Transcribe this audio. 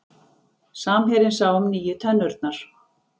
Samherjinn sá um nýju tennurnar